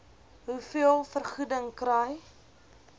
hoeveel vergoeding kry